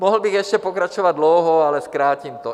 Mohl bych ještě pokračovat dlouho, ale zkrátím to.